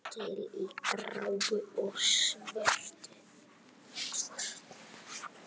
Til í gráu og svörtu.